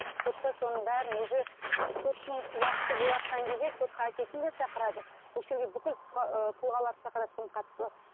сотта соның бәрін уже соттың уақыты болыватқан кезде сотқа әкесін де шақырады осы жерге бүкіл тұлғаларды шақырады кімнің қатысы бар